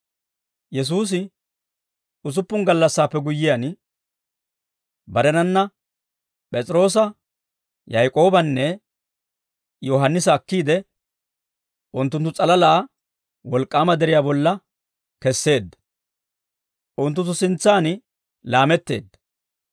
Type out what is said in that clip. Yesuusi usuppun gallassaappe guyyiyaan, barenanna P'es'iroosa, Yaak'oobanne Yohaannisa akkiide, unttunttu s'alalaa wolk'k'aama deriyaa bolla kesseedda; unttunttu sintsaan laametteedda;